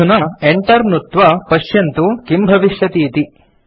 अधुना enter नुत्त्वा पश्यन्तु किम् भविष्यति इति